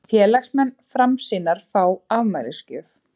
Félagsmenn Framsýnar fá afmælisgjöf